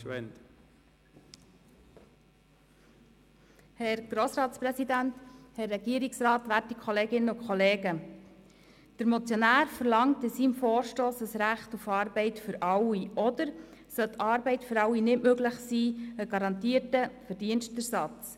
Der Motionär verlangt in seinem Vorstoss ein Recht auf Arbeit für alle, oder sollte die Arbeit für alle nicht möglich sein, einen garantierten Verdienstersatz.